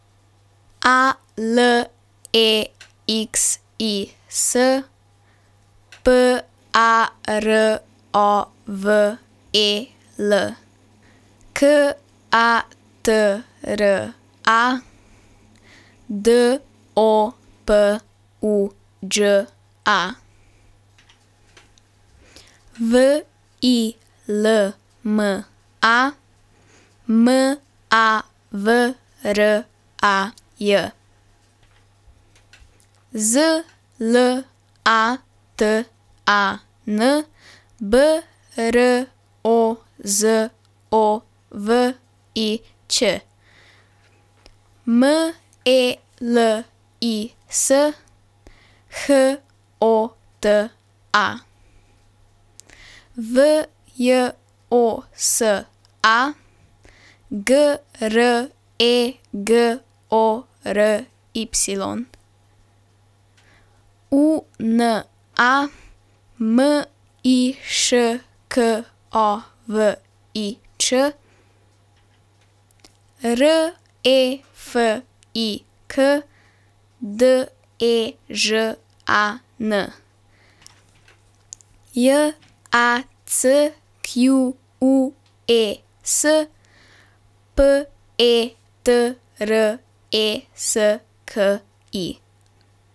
A L E X I S, P A R O V E L; K A T R A, D O P U Đ A; W I L M A, M A V R A J; Z L A T A N, B R O Z O V I Ć; M E L I S, H O T A; V J O S A, G R E G O R Y; U N A, M I Š K O V I Č; R E F I K, D E Ž A N; J A C Q U E S, P E T R E S K I.